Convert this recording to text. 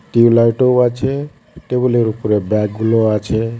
টিউবলাইটও আছে টেবিলের উপর ব্যাগগুলোও আছে .